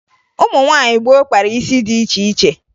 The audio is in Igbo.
Ụmụ nwaanyị gboo kpara isi dị iche iche